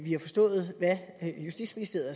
har forstået hvad justitsministeriet